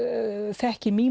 þekki